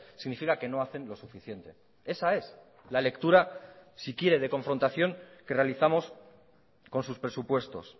significa que no hacen lo suficiente esa es la lectura si quiere de confrontación que realizamos con sus presupuestos